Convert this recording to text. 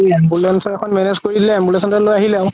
ambulance এখন manage কৰি দিলে ambulance খনে লই আহিলে আকৌ